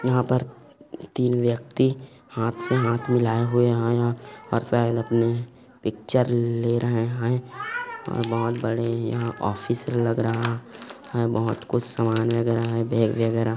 यहाँ पर तीन व्यक्ति हाथ से हाथ मिलाए हुए है यहाँ और शायद अपने पिक्चर ले रहे है बहोत बड़े ऑफिस लग रहा है बहुत कुछ सामान वगेरा है बैग वगेरा --